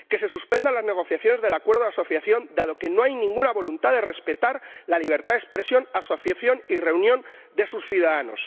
Que se suspendan las negociaciones del Acuerdo de Asociación, dado que no hay ninguna voluntad de respetar la libertad de expresión, asociación y reunión de sus ciudadanos.